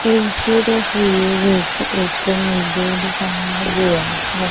ਇੱਸ ਤਸਵੀਰ ਵਿੱਚ ਇੱਕ ਮੰਦਿਰ ਦਿਖਾਯਾ ਗਿਆ ਹੈ।